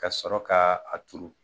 Ka sɔrɔ ka a turu.